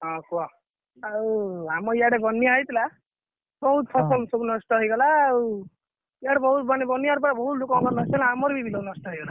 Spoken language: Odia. ଆଉ ଆମ ଇଆଡେ ବନ୍ୟା ହେଇଥିଲା ବହୁତ ଫସଲ ସବୁ ହୁଁ ନଷ୍ଟ ହେଇଗଲା ଆଉ ଇଆଡେ ବହୁତ ମାନେ ବନ୍ୟା ରେ ପୁରା ବହୁତ ଲୋକଙ୍କ ଆମର ବି ବିଲ ନଷ୍ଟ ହେଇଗଲା।